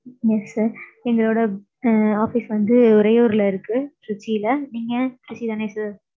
Yes sir. எங்களோட office வந்து உறையூர்ல இருக்கு திருச்சில. நீங்க திருச்சி தானே sir?